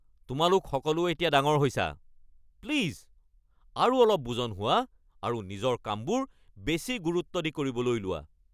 তোমালোক সকলো এতিয়া ডাঙৰ হৈছা! প্লিজ আৰু অলপ বুজন হোৱা আৰু নিজৰ কামবোৰ বেছি গুৰুত্ব দি কৰিবলৈ লোৱা।